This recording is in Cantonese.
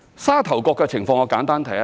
沙頭角的情況我會簡單提一提。